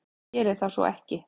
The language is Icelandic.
Hér er það ekki svo.